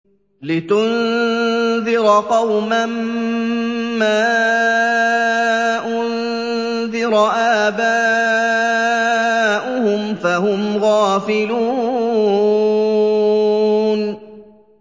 لِتُنذِرَ قَوْمًا مَّا أُنذِرَ آبَاؤُهُمْ فَهُمْ غَافِلُونَ